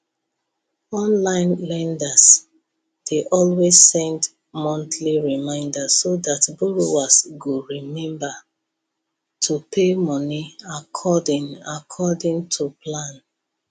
online lenders dey always send monthly reminder so dat borrowers go remember to pay money according according to plan